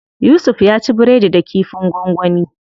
Yusuf ya ci biredi da kifin gwangwani.